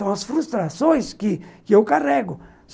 São as frustrações que que eu carrego.